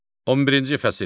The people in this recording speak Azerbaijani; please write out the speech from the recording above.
11-ci fəsil.